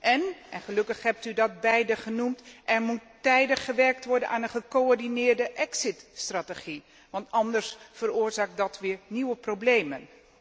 Èn gelukkig hebt u dat beiden genoemd er moet tijdig gewerkt worden aan gecoördineerde exit strategie, anders veroorzaakt dat weer nieuwe problemen.